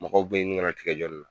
Mɔgɔw be ɲini ŋana tigɛ jɔ na